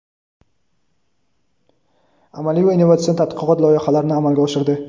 amaliy va innovatsion tadqiqot loyihalarini amalga oshirdi.